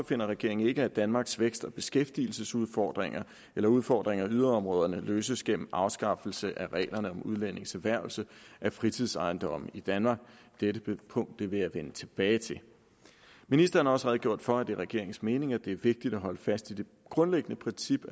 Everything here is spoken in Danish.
finder regeringen ikke at danmarks vækst og beskæftigelsesudfordringer eller udfordringer i yderområderne løses gennem afskaffelse af reglerne om udlændinges erhvervelse af fritidsejendomme i danmark dette punkt vil jeg vende tilbage til ministeren har også redegjort for at det er regeringens mening at det er vigtigt at holde fast i det grundlæggende princip